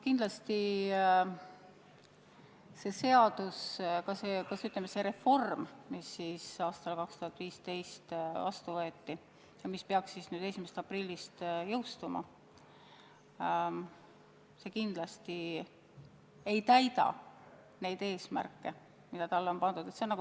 Kindlasti see reform ja see seadus, mis aastal 2015 heaks kiideti ja mis peaks nüüd 1. aprillil jõustuma, ei täida neid eesmärke, mis on seatud.